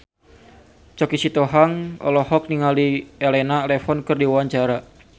Choky Sitohang olohok ningali Elena Levon keur diwawancara